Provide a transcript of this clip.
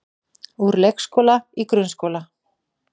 Úr leikskóla í grunnskóla